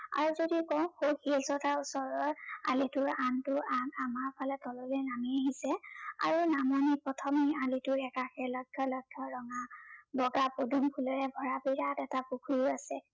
আৰু যদি কওঁ, সৌ শিলচটাৰ ওচৰৰ আলিটোৰ আনটো আগ আমাৰ ফালে তললৈ নামি আহিছে আৰু নামনিৰ প্ৰথমেই আলিটোৰ একাষে লক্ষ্য লক্ষ্য় ৰঙাল বগা পদুম ফুলেৰে ভৰা বিৰাত এটা পুখুৰী আছে।